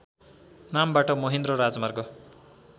नामबाट महेन्द्र राजमार्ग